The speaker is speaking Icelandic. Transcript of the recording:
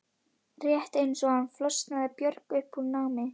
Rétt eins og hann flosnaði Björg upp úr námi.